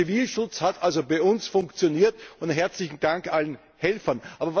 Der Zivilschutz hat also bei uns funktioniert herzlichen Dank allen Helfern!